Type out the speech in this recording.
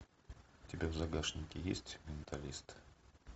у тебя в загашнике есть менталист